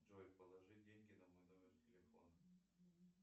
джой положи деньги на мой номер телефона